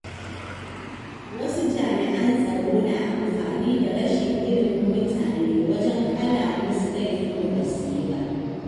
Wasu jami’an tsaro na amfani da rashin ilimin mutane wajen ƙala musu laifin da basu yi ba.